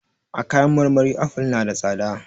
A kayan marmari aful na da tsada.